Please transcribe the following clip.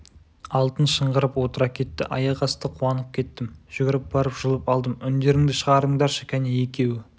алтын шыңғырып отыра кетті аяқ асты қуанып кеттім жүгіріп барып жұлып алдым үңдеріңді шығарыңдаршы кәне екеуі